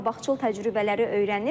Qabaqcıl təcrübələri öyrənir.